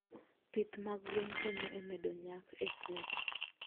Pith mag gwen konyo e medo nyak e puothe.